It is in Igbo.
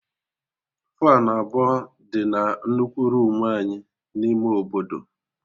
Faanụ abụọ dị na nnukwu roomu anyị n'ime obodo